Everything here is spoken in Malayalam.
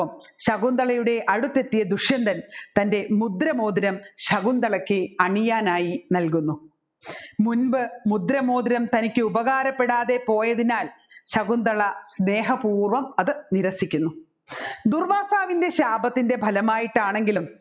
ശകുന്തളയ്ക്ക് അണിയനായി നല്കുന്നു മുൻപ് മുദ്രമോതിരം തനിക്ക് ഉപകാരപ്പെടാതെ പോയതിനാൽ ശകുന്തള സ്നേഹപൂർവ്വം അത് നിരസിക്കുന്നു ദുർവ്വാസാവിൻറെ ശാപത്തിൻെറ ബലമായിട്ടാണെങ്കിലും